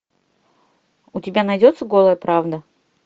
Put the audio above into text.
у тебя найдется голая правда